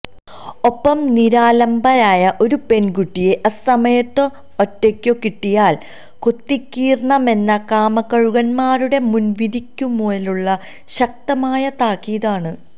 ഒപ്പം നിരാലംബയായ ഒരു പെൺകുട്ടിയെ അസമയത്തോ ഒറ്റയ്ക്കോ കിട്ടിയാൽ കൊത്തിക്കീറണമെന്ന കാമക്കഴുകന്മാരുടെ മുൻവിധിക്കുമേലുള്ള ശക്തമായ താക്കീതാണ്